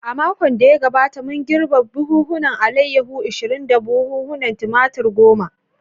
A makon da ya gabata, mun girbe buhunan alayyahu ishirin da buhunan Tumatir goma.